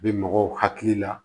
Bɛ mɔgɔw hakili la